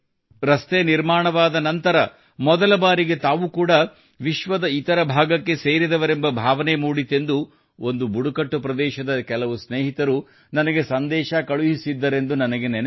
ರಸ್ತೆ ನಿರ್ಮಾಣವಾದ ನಂತರ ಮೊದಲ ಬಾರಿಗೆ ತಾವು ಕೂಡಾ ವಿಶ್ವದ ಇತರ ಭಾಗಕ್ಕೆ ಸೇರಿದವರೆಂಬ ಭಾವನೆ ಮೂಡಿತೆಂದು ಒಂದು ಬುಡಕಟ್ಟು ಪ್ರದೇಶದ ಕೆಲವು ಸ್ನೇಹಿತರು ನನಗೆ ಸಂದೇಶ ಕಳುಹಿಸಿದ್ದರೆಂದು ನನಗೆ ನೆನಪಿದೆ